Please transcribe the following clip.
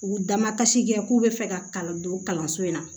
U damakasi kɛ k'u bɛ fɛ ka kalan don kalanso in na